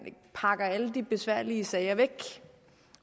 pakker alle de besværlige sager væk